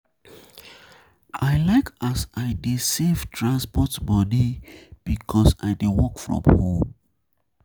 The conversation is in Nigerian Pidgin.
I like as I dey um save transport moni um because I dey work from home.